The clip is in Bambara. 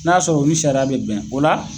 N'a y'a sɔrɔ o ni sariya be bɛn o la